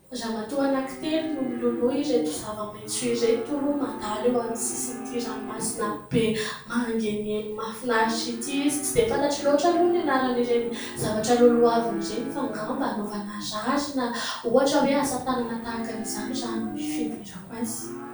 Ramatoa anankitelo no miloloha ireto zavamaitso ireto mandalo eo amin'ny sisin'ity ranomasina be mangeniheny mahafinaritra ity. Tsy dia fantatro loatra aloha ny anaran'ireny zavatra lolohaviny ireny fa angamba hanaovana rary na ohatra hoe asa tànana. Tahaka an' izany no fiheverako azy.